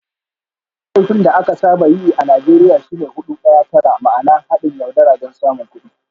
Laifin da aka saba yi a Najeriya shi ne "Hudu Daya Tara" ma'ana "Haɗin yaudara don samun kuɗi.